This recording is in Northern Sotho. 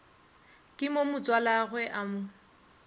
mo ke motswalagwe o mo